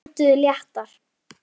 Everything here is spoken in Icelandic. Þeir önduðu léttar.